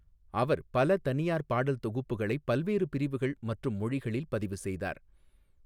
அவர் பல தனியார் பாடல் தொகுப்புகளைப் பல்வேறு பிரிவுகள் மற்றும் மொழிகளில் பதிவு செய்தார்.